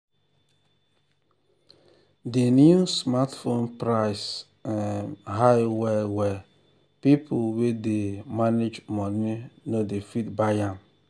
the new smartphone price um high well well people wey dey um manage money no dey fit buy am.